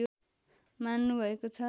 मान्नु भएको छ